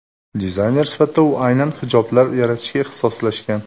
Dizayner sifatida u aynan hijoblar yaratishga ixtisoslashgan.